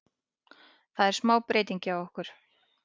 Það er smá breytingar hjá okkur.